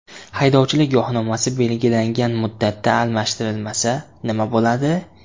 Haydovchilik guvohnomasi belgilangan muddatda almashtirilmasa, nima bo‘ladi?